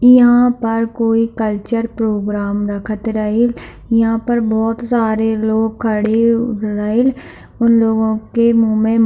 इहाँ पर कोई कल्चरल प्रोग्राम रखत रहील इहाँ पर बहुत सारे लोग खड़े रहेल उन लोगो के मुँह में --